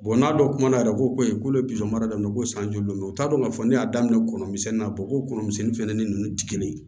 n'a dɔn kuma yɛrɛ ko ko ne ye mara daminɛ ko san joli mɛ u t'a dɔn k'a fɔ ne y'a daminɛ kɔnɔ misɛnnin ko kɔnɔ misɛnnin fɛnɛ ni nunnu ti kelen ye